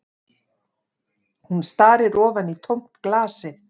Hún starir ofan í tómt glasið